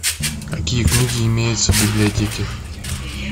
какие книги имеются в библиотеке